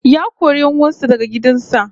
Ya kori 'yan uwan sa daga gidan sa